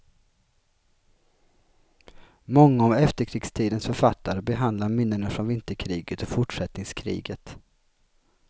Många av efterkrigstidens författare behandlar minnena från vinterkriget och fortsättningskriget.